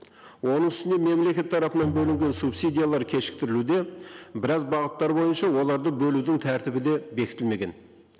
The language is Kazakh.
оның үстіне мемлекет тарапынан бөлінген субсидиялар кешіктірілуде біраз бағыттар бойынша оларды бөлудің тәртібі де бекітілмеген